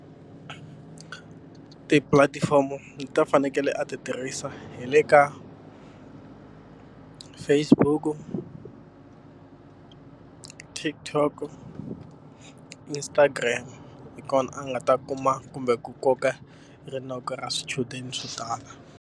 Tipulatifomo leti a fanekele a ti tirhisa hi le ka Facebook-u, TikTok-o, Instagram. Hi kona a nga ta kuma kumbe ku koka rinoko ra swichudeni swo tala.